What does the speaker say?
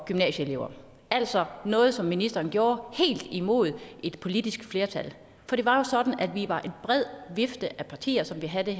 gymnasieelever altså noget som ministeren gjorde helt imod et politisk flertal for det var jo sådan at vi var en bred vifte af partier som ville have der